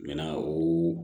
Ɲɛna o